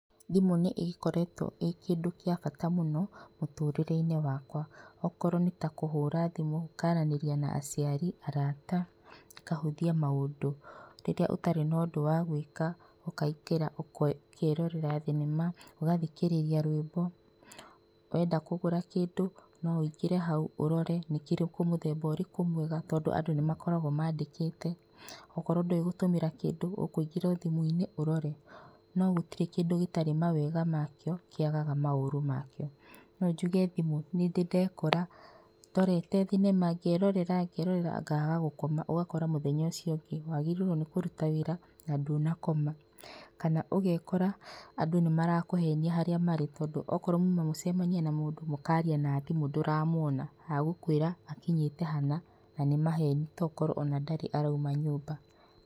Thimũ nĩ ĩkoretwo ĩ kĩndũ kĩa bata mũno mũtũrĩre-inĩ wakwa. Okorwo nĩ ta kũhũra thimũ ũkaranĩria na aciari, arata, ĩkahũthia maũndũ. Rĩrĩa ũtarĩ nondũ wa gwĩka ũkaingĩra ũkerorera thinema, ũgathikĩrĩria rwĩmbo, wenda kũgũra kĩndũ no ũingĩre hau ũrore nĩkĩrĩkũ mũthemba ũrĩkũ mwega tondũ andũ nĩ makoragwo mandĩkĩte. Ũkorwo ndũĩ gũtũmĩra kĩndũ ũkũingĩra o thimũ-inĩ ũrore. No gũtirĩ kĩndũ gĩtarĩ mawega makĩo kĩagaga maũru makĩo. No njuge thimũ nĩ ndĩ ndekora ndorete thinema ngerorera ngaaga gũkoma ũgakora mũthenya uciũ ũngĩ wagĩrĩirwo nĩ kũruta wĩra na ndũnakoma, kana ũgekora andũ nĩ marakũhenia haria marĩ tondũ ũkorwo muma mũcemanie na mũndũ mũkaria na thimũ ndũramuona egũkwĩra akinyĩte hana na nĩ maheni tokorwo ona ndarĩ arauma nyũmba.